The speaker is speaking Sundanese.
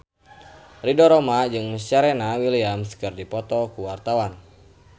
Ridho Roma jeung Serena Williams keur dipoto ku wartawan